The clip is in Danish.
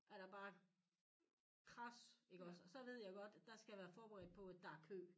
Er der bare krads iggås og så ved jeg godt at dér skal jeg være forberedt på at der er kø